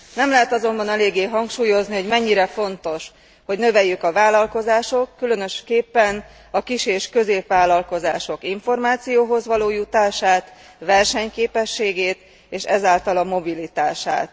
Nem lehet azonban eléggé hangsúlyozni, hogy mennyire fontos, hogy növeljük a vállalkozások, különösképpen a kis és középvállalkozások információhoz való jutását, versenyképességét, és ezáltal a mobilitását.